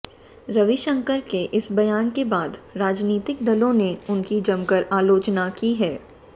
रविशंकर के इस बयान के बाद राजनीतिक दलों ने उनकी जमकर आलोचना की है